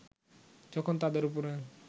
যখন তাদের উপরে